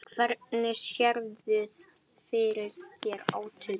Hvernig sérðu fyrir þér átökin?